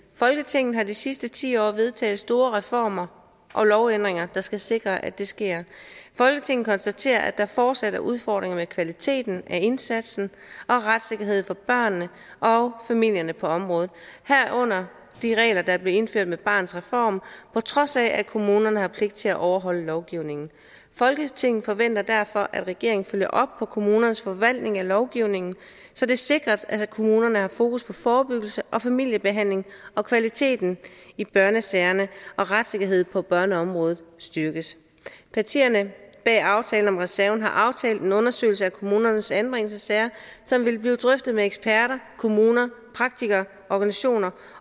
folketinget har de sidste ti år vedtaget store reformer og lovændringer der skal sikre at det sker folketinget konstaterer at der fortsat er udfordringer med kvaliteten af indsatsen og retssikkerheden for børnene og familierne på området herunder de regler der blev indført med barnets reform på trods af at kommunerne har pligt til at overholde lovgivningen folketinget forventer derfor at regeringen følger op på kommunernes forvaltning af lovgivningen så det sikres at kommunerne har fokus på forebyggelse og familiebehandling og kvaliteten i børnesagerne og retssikkerheden på børneområdet styrkes partierne bag aftalen om reserven har aftalt en undersøgelse af kommunernes anbringelsessager som vil blive drøftet med eksperter kommuner praktikere organisationer